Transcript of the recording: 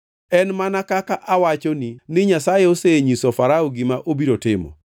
“En mana kaka awachoni ni Nyasaye osenyiso Farao gima obiro timo.